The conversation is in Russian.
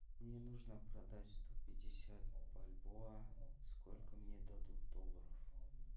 мне нужно продать сто пятьдесят бальбоа сколько мне дадут долларов